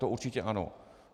To určitě ano.